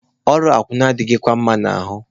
Ọrụ akwụna a adịghịkwa m mma n'ahụ.